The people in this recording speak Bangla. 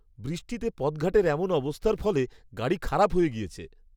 বৃষ্টিতে পথঘাটের এমন অবস্থার ফলে, গাড়ি খারাপ হয়ে গিয়েছে।